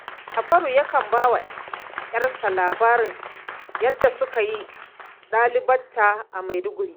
Jafaru yakan ba wa 'yarsa labarin yadda suka yi ɗalibta a Maiduguri